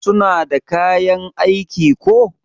suna da kayan aiki ko?